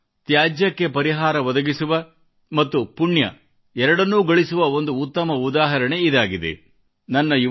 ಆದರೆ ತ್ಯಾಜ್ಯಕ್ಕೆ ಪರಿಹಾರ ಒದಗಿಸಿ ಹಣ ಮತ್ತು ಪುಣ್ಯ ಎರಡನ್ನೂ ಗಳಿಸುವ ಒಂದು ಉತ್ತಮ ಉದಾಹರಣೆ ಇದಾಗಿದೆ